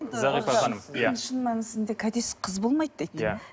зағипа ханым иә шын мәнісінде кәдесіз қыз болмайды дейді иә